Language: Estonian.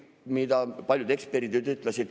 Seda ütlesid paljud eksperdid.